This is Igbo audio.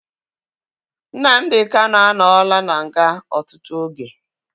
Nnamdi Kanu anọla na nga ọtụtụ oge